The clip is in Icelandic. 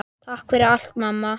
Takk fyrir allt, amma.